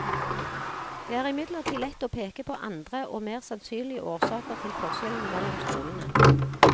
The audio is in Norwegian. Det er imidlertid lett å peke på andre og mer sannsynlige årsaker til forskjellene mellom skolene.